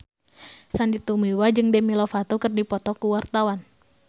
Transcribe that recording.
Sandy Tumiwa jeung Demi Lovato keur dipoto ku wartawan